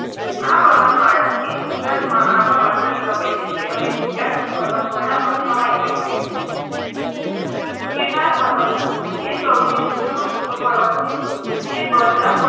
આ પર્વતમાળા એ ગુજરાતમાં આબુ પાસેથી પ્રવેશે છે અને વિંધ્યાચલ પર્વતમાળામાં સમાઈ જાય છે ગીરનાર પર્વત એ સૌથી ઊંચામાં ઉંચો પર્વત છે જે, બરડા પર્વત